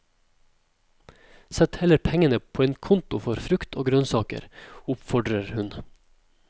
Sett heller pengene på en konto for frukt og grønnsaker, oppfordrer hun.